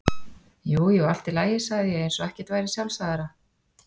Jú jú, allt í lagi, sagði ég eins og ekkert væri sjálfsagðara.